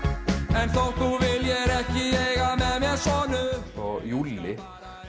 en þótt þú viljir ekki eiga með mér sonu og Júlli